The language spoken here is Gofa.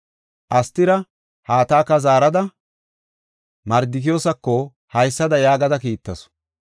Astira, Hataka zaarada, Mardikiyoosako haysada yaagada kiittasu.